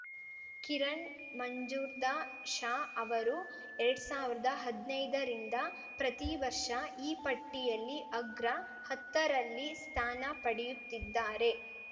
ಕಿರಣ್‌ ಮಂಜುಂರ್ದಾ ಶಾ ಅವರು ಎರಡ್ ಸಾವಿರ್ದಾ ಹದ್ನೈದರಿಂದ ಪ್ರತಿವರ್ಷ ಈ ಪಟ್ಟಿಯಲ್ಲಿ ಅಗ್ರ ಹತ್ತರಲ್ಲಿ ಸ್ಥಾನ ಪಡೆಯುತ್ತಿದ್ದಾರೆ